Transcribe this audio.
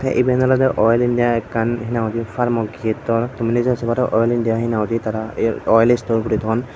iben olode oil india ekkan farmo kittor tumi je oil india henanghoide tara oil store gori ton.